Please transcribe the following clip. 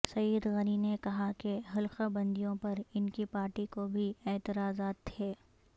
سعید غنی نے کہا کہ حلقہ بندیوں پر ان کی پارٹی کو بھی اعتراضات تھے